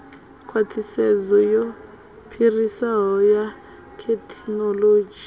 khwaṱhisedzo ya phiriso ya thekhinoḽodzhi